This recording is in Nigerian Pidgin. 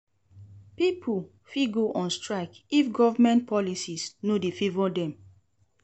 Pipo fit go on strike if government policies no de favour dem